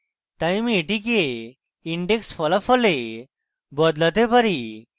তাই আমি এটিকে index ফলাফলে বদলাতে চাই